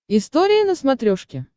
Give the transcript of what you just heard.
история на смотрешке